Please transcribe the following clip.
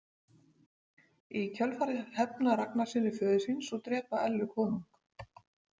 Í kjölfarið hefna Ragnarssynir föður síns og drepa Ellu konung.